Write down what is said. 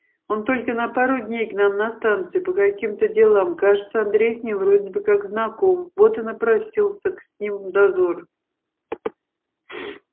он только на пару дней к нам на станцию по каким-то делам кажется андрей с ним вроде бы как знаком вот и напросился с ним в дозор